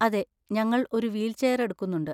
അതെ, ഞങ്ങൾ ഒരു വീൽചെയർ എടുക്കുന്നുണ്ട്.